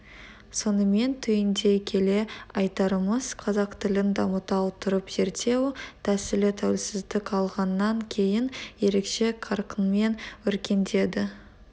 сонымен түйіндей келе айтарымыз қазақ тілін дамыта отырып зерттеу тәсілі тәуелсіздік алғаннан кейін ерекше қарқынмен өркендеді